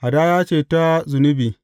Hadaya ce ta zunubi.